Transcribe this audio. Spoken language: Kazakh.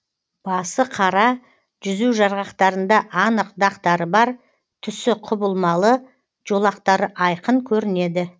басы қара жүзу жарғақтарында анық дақтары бар түсі құбылмалы жолақтары айқын көрінеді